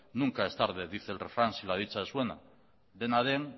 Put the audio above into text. nunca es tarde dice el refrán si la dicha es buena dena den